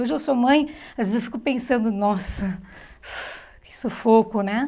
Hoje eu sou mãe, às vezes eu fico pensando, nossa, que sufoco, né?